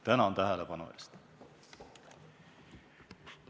Tänan tähelepanu eest!